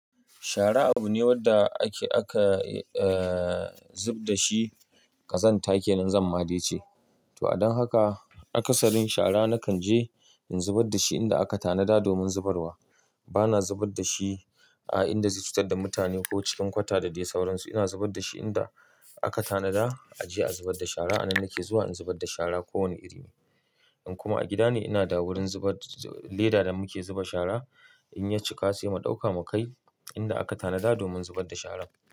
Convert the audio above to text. Shara abu ne wanda ake, aka, eh, zub da shi ƙazanta kenan zan ma da ice. To, adon haka akasarin shara nakan je in zubar da shi inda aka tanada domin zubarwa. Bana zubar da shi a inda zai cutar da mutane ko cikin kwata da dai sauransu. Ina zubar da shi inda aka tanada a je a zubar da shara. A nan nake zuwa in zubar da shara ko wane iri ne. In kuma a gida ne, ina da wurin zubar, leda da muke zuba shara. In ya cika sai mu ɗauka mu kai inda aka tanada domin zubar da shara.